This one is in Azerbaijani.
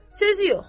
Sözü yox.